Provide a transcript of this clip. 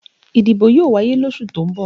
Ìdìbò yóò wáyé losu tó ń bọ̀